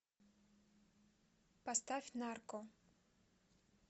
поставь нарко